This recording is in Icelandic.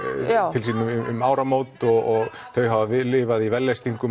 til sín um áramót og þau hafa lifað í vellystingum